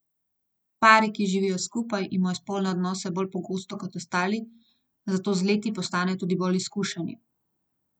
Pari, ki živijo skupaj, imajo spolne odnose bolj pogosto, kot ostali, zato z leti postanejo tudi bolj izkušeni.